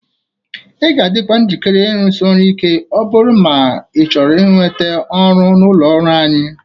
Ị ga-adịkwa njikere ịrụsị ọrụ Ike ma ọ bụrụ na ị chọrọ inweta ọrụ n'ụlọ ọrụ anyịị